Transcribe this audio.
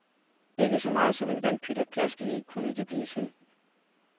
Ikke så meget som en vandpyt at plaske i kunne det blive til.